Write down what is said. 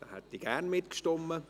Hier hätte ich gerne mittgestimmt.